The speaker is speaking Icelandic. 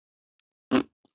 Engu munar.